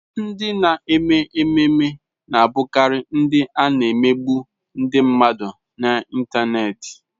Ndị na-eme ememme na-abụkarị ndị a na-emegbu ndị mmadụ n'Ịntanet.